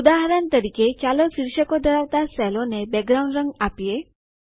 ઉદાહરણ તરીકે ચાલો શિર્ષકો ધરાવતા સેલોને બેકગ્રાઉન્ડ રંગ આપીએ